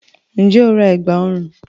Ǹjẹ́ o ra ẹ̀gbá ọrùn?